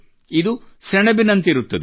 ಇದು ಸೆಣಬಿನಂತಿರುತ್ತದೆ